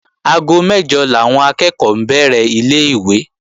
Aago mẹ́jọ làwọn akẹ́ẹ̀kọ́ bẹ̀rẹ̀ ilé-ìwé